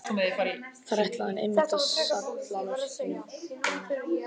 Þar ætlaði hann einmitt að salla mörkunum inn!